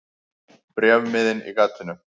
Bréfmiðinn í gatinu.